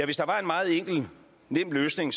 hvis der var en meget enkel nem løsning